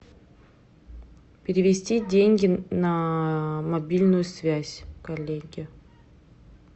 перевести деньги на мобильную связь коллеге